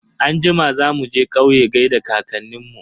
Anjima za muje kauye gaida kankanin mu.